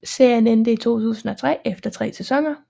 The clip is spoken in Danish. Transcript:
Serien endte i 2003 efter 3 sæsoner